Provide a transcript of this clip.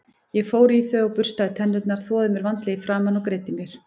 Ég fór í þau og burstaði tennurnar, þvoði mér vandlega í framan og greiddi mér.